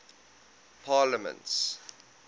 parliaments